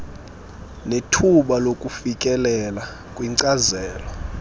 nethuba lokufikelela kwinkcazelo